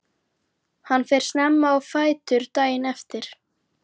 Hann fer snemma á fætur daginn eftir.